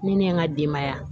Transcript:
Ni ne ye n ka denbaya